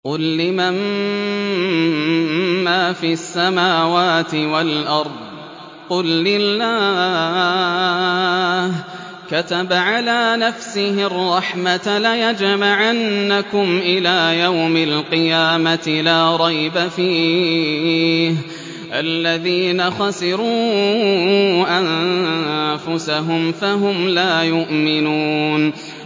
قُل لِّمَن مَّا فِي السَّمَاوَاتِ وَالْأَرْضِ ۖ قُل لِّلَّهِ ۚ كَتَبَ عَلَىٰ نَفْسِهِ الرَّحْمَةَ ۚ لَيَجْمَعَنَّكُمْ إِلَىٰ يَوْمِ الْقِيَامَةِ لَا رَيْبَ فِيهِ ۚ الَّذِينَ خَسِرُوا أَنفُسَهُمْ فَهُمْ لَا يُؤْمِنُونَ